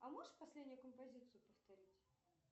а можешь последнюю композицию повторить